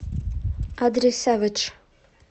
адрес сэвэдж